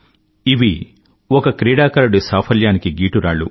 ఇవి ఒక క్రీడాకారుడి సాఫల్యానికి గీటురాళ్లు